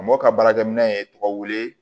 Mɔ ka baarakɛminɛn in ye tɔgɔ wele